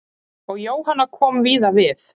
Og Jóhanna kom víða við.